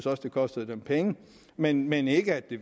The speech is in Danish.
at det kostede dem penge men men ikke at det